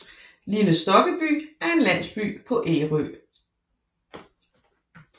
Lille Stokkeby er en landsby på Ærø